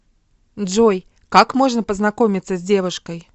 джой как можно познакомиться с девушкой